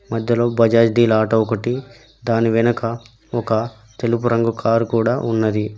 మధ్యలో బజాజ్ డిల్ ఆటో ఒకటి దాని వెనక ఒక తెలుపు రంగు కారు కూడా ఉన్నది.